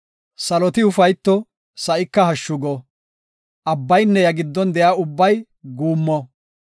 Saloti ufayto; sa7ika hashshu go; abbaynne iya giddon de7iya ubbay guummo.